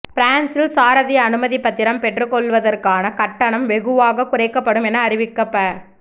பிரான்சில் சாரதி அனுமதி பத்திரம் பெற்றுக்கொள்ளுவதற்கான கட்டணம் வெகுவாக குறைக்கப்படும் என அறிவிக்கப்ப